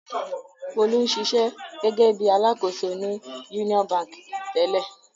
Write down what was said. Folú ń ṣiṣẹ́ gẹ́gẹ́ bí i alákòóso ní Union Báńkì tẹ́lẹ̀.